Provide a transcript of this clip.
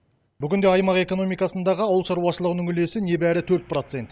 бүгінде аймақ экономикасындағы ауыл шаруашылығының үлесі небәрі төрт процент